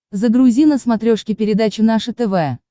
загрузи на смотрешке передачу наше тв